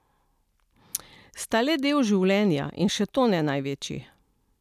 Sta le del življenja, in še to ne največji.